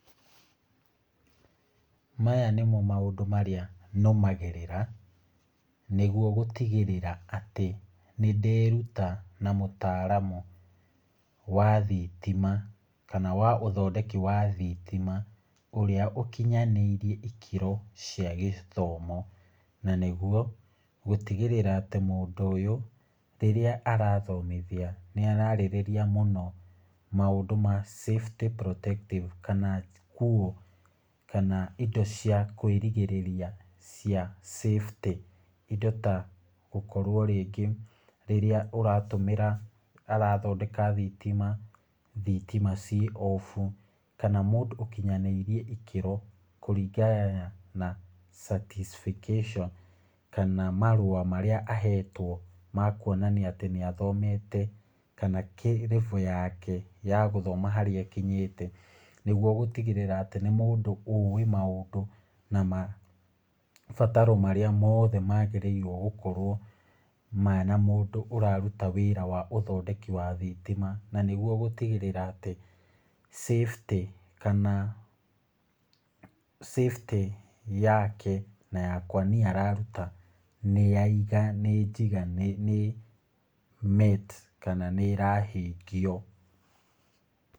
Maya nĩmo maũndũ marĩa nũmagĩrĩra, nĩgwo gũtigĩrĩra atĩ nĩnderuta na mũtaaramu wa thitima, kana wa ũthondeki wa thitima ũrĩa ũkinyanĩirie ikĩro cia gĩthomo , na nĩgwo gũtigĩrĩra atĩ mũndũ ũyũ ũrĩa arathomithia nĩ ararĩrĩria mũno maũndũ ma safety protective kana kũũ, kana indo cia kwĩrigĩrĩria cia safety, indo ta gũkorwo rĩngĩ rĩrĩa ũratũmĩra arathondeka thitima, thitima ci obu , kana mũndũ ũkinyanĩirie ikĩro kũringana na certifications , kana marua marĩa ahetwo ma kwonania atĩ nĩ athomete, kana level yake ya gũthoma harĩa ikinyĩte , nĩgwo gũtigĩrĩra atĩ nĩ mũndũ ũĩ maũndũ na mabataro mothe magĩrĩirwo gũkorwo mena mũndũ ũraruta wĩra wa ũthondeki wa thitima, na nĩgwo gũtigĩrĩra atĩ safety kana safety yake na yakwa niĩ araruta , nĩ ya nĩ njiga nĩ met , kana nĩ ĩrahingio.